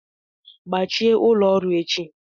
Gbachie ụlọ ọrụ echi!